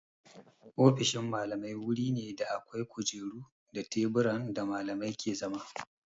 Ofishin Mallamai wuri ne da akwai kujeru da teburan da Mallamai ke zama.